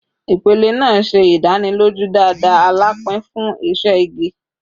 Ipele naa ṣe idaniloju dada alapin fun iṣẹ igi